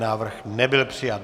Návrh nebyl přijat.